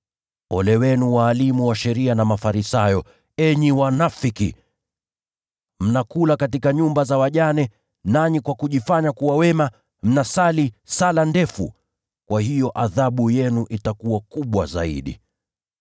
Ole wenu walimu wa sheria na Mafarisayo, enyi wanafiki! Mnakula katika nyumba za wajane, nanyi kwa kujifanya kuwa wema, mnasali sala ndefu. Kwa hiyo hukumu yenu itakuwa kuu zaidi.]